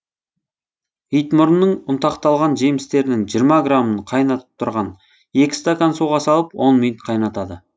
итмұрынның ұнтақталған жемістерінің жиырма грамын қайнап тұрған екі стакан суға салып он минут қайнатады